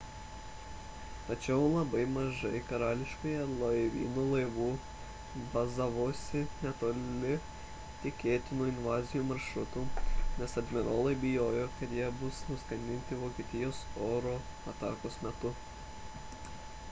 tačiau labai mažai karališkojo laivyno laivų bazavosi netoli tikėtinų invazijos maršrutų nes admirolai bijojo kad jie bus nuskandinti vokietijos oro atakos metu